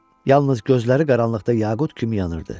Yalnız gözləri qaranlıqda yaqut kimi yanırdı.